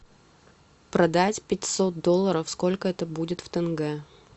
продать пятьсот долларов сколько это будет в тенге